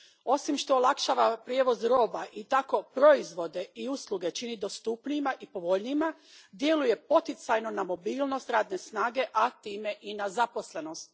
Osim što olakšava prijevoz roba i tako proizvode i usluge čini dostupnijima i povoljnijima, djeluje poticajno na mobilnost radne snage, a time i na zaposlenost.